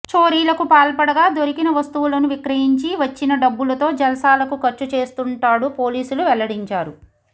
చోరీలకు పాల్పడగా దొరికిన వస్తువులను విక్రయించి వచ్చిన డబ్బులతో జల్సాలకు ఖర్చు చేస్తుంటాడు పోలీసులు వెల్లడించారు